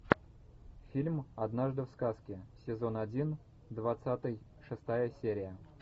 фильм однажды в сказке сезон один двадцатый шестая серия